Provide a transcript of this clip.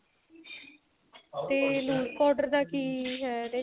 ਤੇ lose powder ਦਾ ਕੀ ਹੈ ਇਹਦੇ ਚ